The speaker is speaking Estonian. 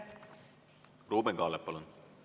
Ruuben Kaalep, palun!